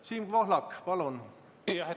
Siin Pohlak, palun!